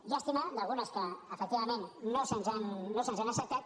llàstima d’algunes que efectivament no se’ns han acceptat